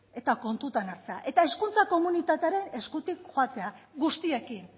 eta kontutan hartzea eta hezkuntza komunitatea ere eskutik joatea guztiekin